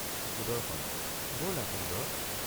সুদৰ্শন—বলা সুন্দৰ।